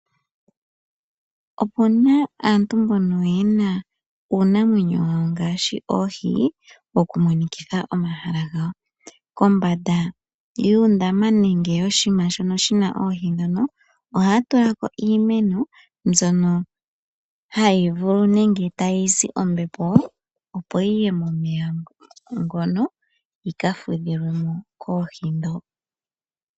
Opuna aantu mbono yena uunamwenyo ngaashi ooshi kombanda yuundama nenge yooshima shoka ohaatula mo iimeno